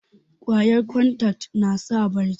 kwayan kontak nasa bacci